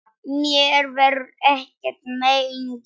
Mér verður ekkert mein gert.